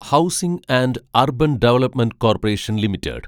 housing and urban development corporation limited